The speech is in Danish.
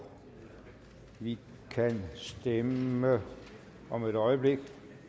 vi kan stemme om et øjeblik